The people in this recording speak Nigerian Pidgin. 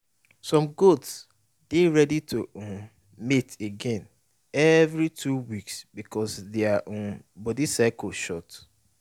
some goat dey ready to um mate again every two weeks because their um body cycle short.